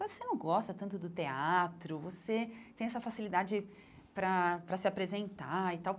Você não gosta tanto do teatro, você tem essa facilidade para para se apresentar e tal.